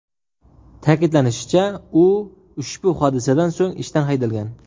Ta’kidlanishicha, u ushbu hodisadan so‘ng ishdan haydalgan.